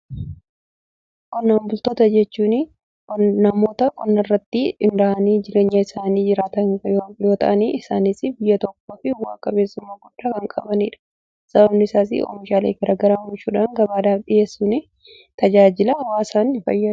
Qonnaan bultoota jechuuni namoota qonnaarratti hinrahanii jireenya isaanii jiraatan yoota'anii isaaniif biyya tokkoo fi waaqabeessumma goddaa kan qabaniidha. sababani isaasii oomishaalee garagaraa oomishuudhan gabaadhaaf dhiheessuun tajaajila waasaaf fayyada.